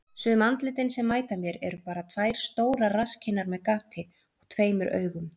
Sum andlitin sem mæta mér eru bara tvær stórar rasskinnar með gati og tveimur augum.